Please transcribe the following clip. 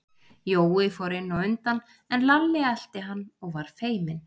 Jói fór inn á undan, en Lalli elti hann og var feiminn.